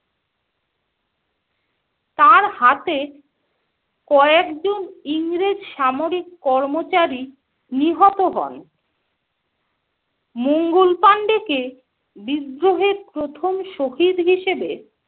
তার হাতে কয়েকজন ইংরেজ সামরিক কর্মচারী নিহত হন। মঙ্গল পান্ডে কে বিদ্রোহের প্রথম শহীদ হিসাবে